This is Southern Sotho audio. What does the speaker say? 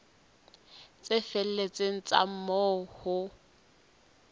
tse felletseng tsa moo ho